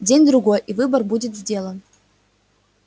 день-другой и выбор будет сделан